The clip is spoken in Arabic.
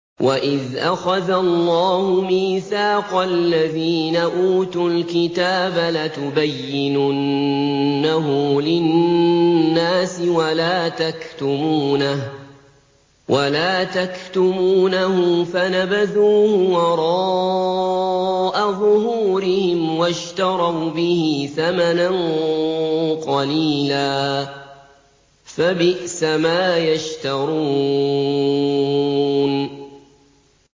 وَإِذْ أَخَذَ اللَّهُ مِيثَاقَ الَّذِينَ أُوتُوا الْكِتَابَ لَتُبَيِّنُنَّهُ لِلنَّاسِ وَلَا تَكْتُمُونَهُ فَنَبَذُوهُ وَرَاءَ ظُهُورِهِمْ وَاشْتَرَوْا بِهِ ثَمَنًا قَلِيلًا ۖ فَبِئْسَ مَا يَشْتَرُونَ